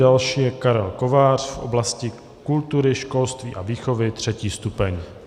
Další je Karel Kovář v oblasti kultury, školství a výchovy, 3. stupeň.